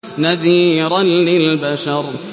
نَذِيرًا لِّلْبَشَرِ